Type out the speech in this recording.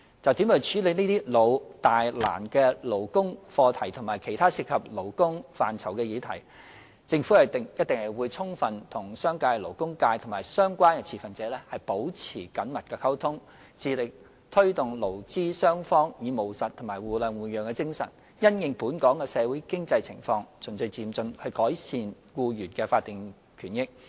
就如何處理這些"老、大、難"的勞工課題和其他涉及勞工範疇的議題，政府一定會充分與商界、勞工界及相關持份者保持緊密溝通，致力推動勞資雙方以務實及互諒互讓的精神，因應本港的社會經濟情況，循序漸進地改善僱員的法定權益。